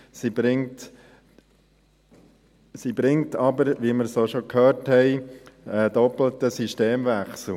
Sie bringt aber, wie wir schon gehört haben, einen doppelten Systemwechsel: